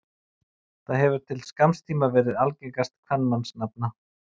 Það hefur til skamms tíma verið algengast kvenmannsnafna.